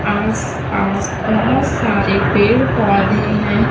आसपास बहोत सारे पेड़ पौधे है।